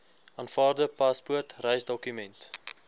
aanvaarbare paspoort reisdokument